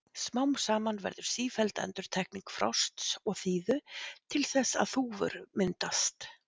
Smám saman verður sífelld endurtekning frosts og þíðu til þess að þúfur myndast.